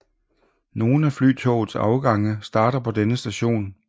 Nogen af Flytogets afgange starter på denne station